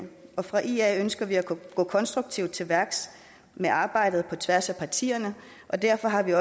ia ønsker vi at gå konstruktivt til værks med arbejdet på tværs af partierne og derfor har vi